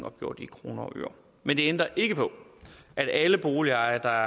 opgjort i kroner og øre men det ændrer ikke ved at alle boligejere der